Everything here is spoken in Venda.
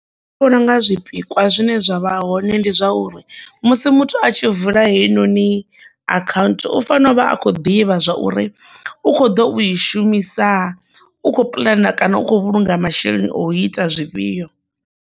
Nṋe ndi vhona unga zwipikwa zwine zwa vha hoṋe ndi zwauri musi muthu a tshi vula heinoni akhanthu u fanela u vha a khou ḓivha zwa uri u kho ḓo u i shumisa u kho pulana kana u khou vhulunga masheleni o ita zwifhio.